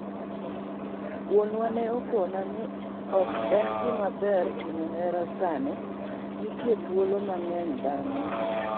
"Wuonwa ne okona ni ok en gima ber timo hera sani, nitie thuolo mang'eny bang'e.